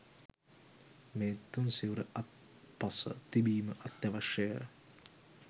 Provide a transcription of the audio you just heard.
මේ තුන්සිවුර අත්පස තිබීම අත්‍යවශ්‍යය.